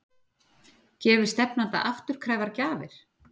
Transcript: Gefi stefnandi afturkræfar gjafir?